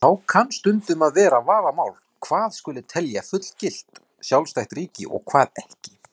Ekkert sérstakt orð er til yfir maka forseta eða annarra embættismanna ef þeir eru karlkyns.